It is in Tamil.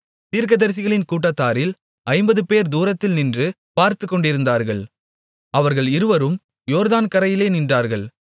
தீர்க்கதரிசிகளின் கூட்டத்தாரில் ஐம்பதுபேர் தூரத்திலே நின்று பார்த்துக்கொண்டிருந்தார்கள் அவர்கள் இருவரும் யோர்தான் கரையிலே நின்றார்கள்